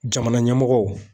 Jamana ɲɛmɔgɔw